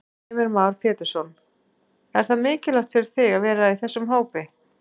Heimir Már Pétursson: Er það mikilvægt fyrir þig að vera í þessum hópi?